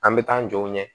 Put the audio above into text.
An bɛ taa an jɔ